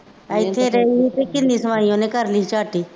ਇੱਥੇ ਰਹੀ ਅਤੇ ਤਿੰਂਨੀ ਉਹਨੇ ਘਰ ਨਹੀਂ ਝਾਕੀ